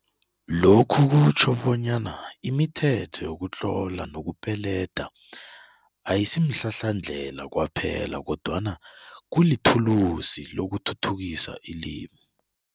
Lokhu kutjho bonyana imithetho yokutlola nokupeleda ayisimhlahlandlela kwaphela kodwana kulithulusi lokuthuthukisa ilimi.